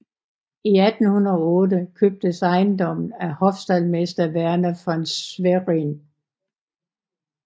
I 1808 købtes ejendommen af hofstaldmester Werner von Schwerin